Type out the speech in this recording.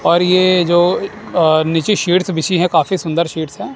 और ये जो अअ नीचे शीट्स बिछी है काफी सुंदर शीट्स है।